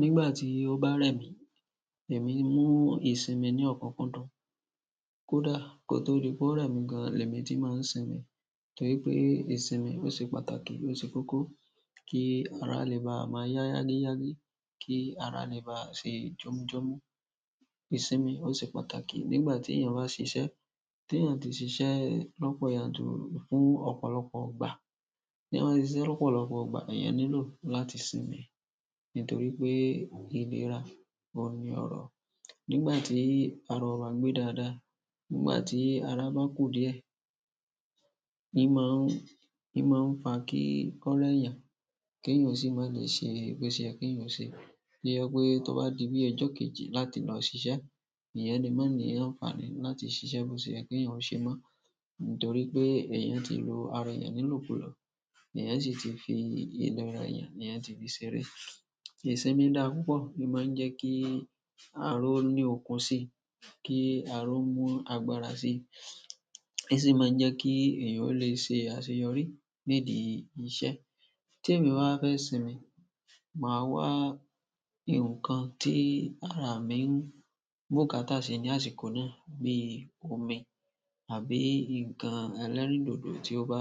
Nígbà tí ó bá rẹ̀ mí, èmi mú ìsinmi ní ọ̀kunkundun. Kódà kó tó di pé ó rẹ̀ mí gan, lèmi ti máa ń sinmi. Torí pé ìsinmi ó ṣe pàtàkì, ó ṣe kókó kí ara lè bá máa yá yágíyágí, kí ara lè bá ṣe jọmujọmu. Ìsinmi ó ṣe pàtàkì nígbà tí èèyàn bá ṣiṣẹ́, tí èèyàn tí ṣiṣẹ́ lọ́pọ̀ yanturu fún ọ̀pọ̀lọpọ̀ ìgbà, tí eeyan bá ṣiṣẹ́ lọ́pọ̀lọpọ̀ ìgbà, èèyàn nílò láti sinmi. Nítorí pé ìlera oun ní ọrọ̀. Nígbà tí ara o ba gbé dáadáa, nígbà tí ara bá kù díẹ̀, ni máa ń, ni maa ń fa kí kọ́ rẹ eeyan kí èèyàn o sì má lè ṣe boseyẹ kí èèyàn ò ṣe. To jẹ pé tó bá di bí ọjọ kejì láti lọ ṣiṣẹ́, èèyàn le mọ ni àǹfààní láti ṣiṣẹ́ bó ṣe yẹ́ kí èèyàn ò ṣe mọ́. Nítorí pé èèyàn ti lo ara eeyan ni ilokulo, èèyàn sì ti fi ìlera èèyàn, èèyàn ti fi ṣeré. Ìsinmi dà púpọ̀, ó máa ń jẹ́ kí ara o ní okun sí i, kí ara o mú agbára sí i. O si máa ń jẹ́ kí èèyàn ó lè ṣe àṣeyọrí nídi iṣẹ́. Tí èmi bá fẹ́ sinmi, màá wà ǹnkan tí ara mi ń bùkátá sí ní àsìkò náà bí i omi àbí ǹnkan ẹlẹ́rìndòdò tí ó bá